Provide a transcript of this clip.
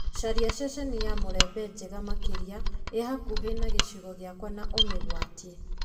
caria ceceni ya mulembe njega makĩria ĩ hakuhĩ na gĩcigo gĩakwa na ũmĩgwatie